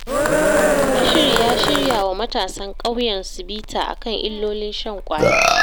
Bashir ya shirya wa matasan ƙauyensu bita a kan illolin shan ƙwaya.